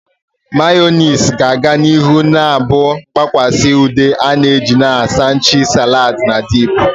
Mayonezi ga-aga n'ihu na-abụ mgbakwasa ude a na-eji na sanwichi, salads, na dip.